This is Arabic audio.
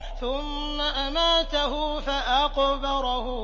ثُمَّ أَمَاتَهُ فَأَقْبَرَهُ